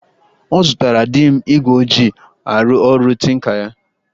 Ọ zụtara di m igwe o ji arụ ọrụ tinka ya